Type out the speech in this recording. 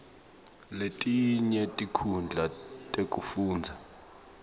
letinye tinkhundla tekufundza